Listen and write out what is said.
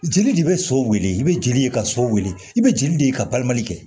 Jeli de bɛ so weele i bɛ jeli ye ka so weele i bɛ jeli de ye ka balima kɛ